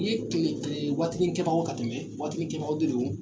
waatinikɛbagaw ka tɛmɛ waatinikɛbagaw de don